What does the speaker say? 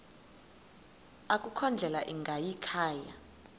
akukho ndlela ingayikhaya